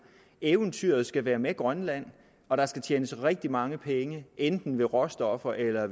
eventyret skal være med grønland og der skal tjenes rigtig mange penge enten råstoffer eller